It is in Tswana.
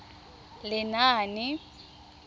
lenaane